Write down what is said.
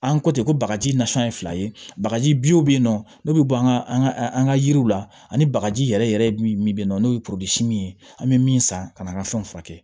An ko ten ko bagaji nasɔn ye fila ye bagaji bi yen nɔ n'o bɛ bɔ an ka an ka yiriw la ani bagaji yɛrɛ yɛrɛ yɛrɛ min bɛ yen nɔ n'o ye ye an bɛ min san ka na an ka fɛnw furakɛ